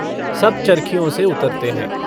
सब चर्खियों से उतरते हैं।